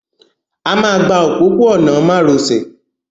A máa gba òpópó-ọ̀nà márosẹ̀